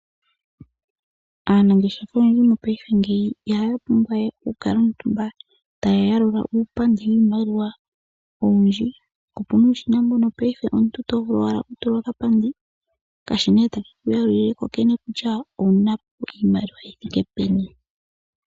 Aanangesha yomonangashingeyi itaya pumbwa we okukala omutumba taya yalula uupandi wiimaliwa owindji. Ope na omashina ngoka to vulu okutuluka ko okapandi, ta ka yalula ku kene kutya iwu na iimaliwa yi thike peni.